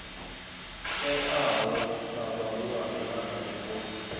teaho kha vhahulwane arali vho